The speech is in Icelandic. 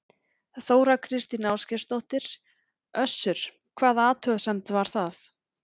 Þóra Kristín Ásgeirsdóttir: Össur, hvaða athugasemd var það?